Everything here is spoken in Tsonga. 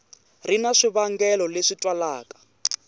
ri na swivangelo leswi twalaka